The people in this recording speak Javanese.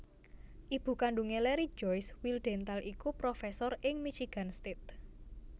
Ibu kandhungé Larry Joyce Wildhental iku profesor ing Michigan State